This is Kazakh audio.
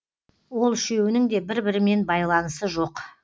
ол үшеуінің де бір бірімен байланысы жоқ